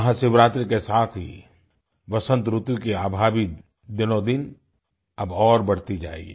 महाशिवरात्रि के साथ ही वसंत ऋतु की आभा भी दिनोदिन अब और बढ़ती जायेगी